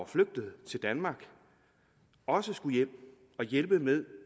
flygtet til danmark også skulle hjem og hjælpe med